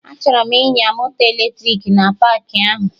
Achọrọ m ịnya moto eletrik na paakị ahụ